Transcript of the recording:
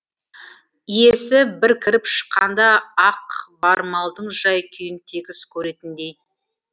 иесі бір кіріп шыққанда ақ бар малдың жай күйін тегіс көретіндей